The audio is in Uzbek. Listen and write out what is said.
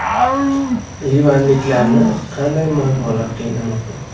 Livanliklarni qanday muammolar qiynamoqda?